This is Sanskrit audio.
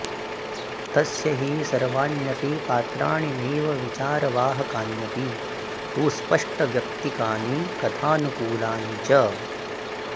तस्य हि सर्वाण्यपि पात्राणि नैव विचारवाहकान्यपि तु स्पष्टव्यक्तिकानि कथानुकूलानि च